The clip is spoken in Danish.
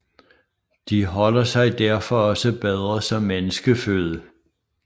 De holder sig derfor også bedre som menneskeføde